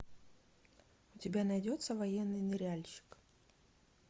у тебя найдется военный ныряльщик